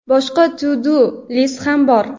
Boshqa to-do list ham bor.